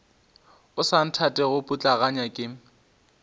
o sa nthatego putlaganya ke